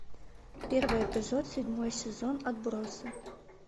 первый эпизод седьмой сезон отбросы